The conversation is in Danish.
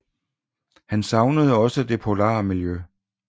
Han savnede også det polare miljø